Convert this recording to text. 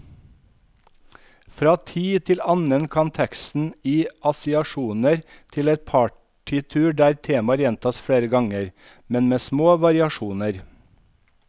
Fra tid til annen kan teksten gi assosiasjoner til et partitur der temaer gjentas flere ganger, men med små variasjoner.